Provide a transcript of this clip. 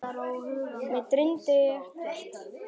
Mig dreymdi ekkert.